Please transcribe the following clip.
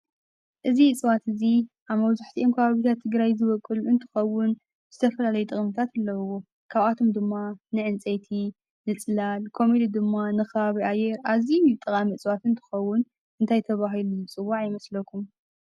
እዚ እፅዋት እዚ ኣብ መብዛሕትኦም ከባቢታት ትግራይ ዝወቅል እንትከውን ዝተፈላላየ ጥቅምታት ኣለዎ። ከብኣቶም ድማ ንዕንፀይቲ፣ ንፅላል ከምኡ ድማ ንከባቢ ኣየር፣ ኣዝዩ ጠቃሚ ዕፅዋት እንትከውን እንታይ ተበሂሉ ይፅዋዕ ይመስሎኩም?